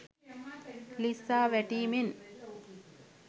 ලිස්සා වැටීමෙන්